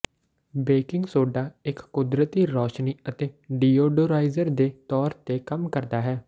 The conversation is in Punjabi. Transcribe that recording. ਬੇਕਿੰਗ ਸੋਡਾ ਇਕ ਕੁਦਰਤੀ ਰੌਸ਼ਨੀ ਅਤੇ ਡੀਓਡੋਰਾਈਜ਼ਰ ਦੇ ਤੌਰ ਤੇ ਕੰਮ ਕਰਦਾ ਹੈ